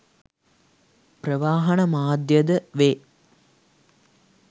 ප්‍රවාහන මාධ්‍යයද වේ.